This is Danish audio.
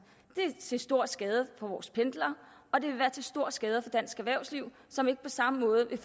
det er til stor skade for vores pendlere og det vil være til stor skade for dansk erhvervsliv som ikke på samme måde vil